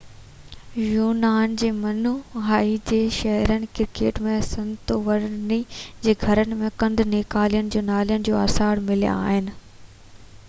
يونان جي منوائي جي شهرن ڪريٽ ۽ سنتوريني جي گهرن ۾ گند نيڪالين جي نالين جا آثار مليا آهن